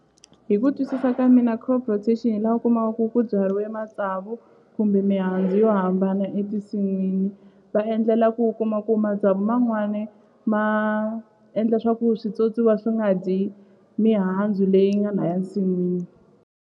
Hi ku twisisa ka mina crop rotation hi la u kumaka ku byariwe matsavu kumbe mihandzu yo hambana etinsin'wini va endlela ku kuma ku matsavu man'wani ma endla swaku switswotswiwa swi nga dyi mihandzu leyi nga laya nsin'wini.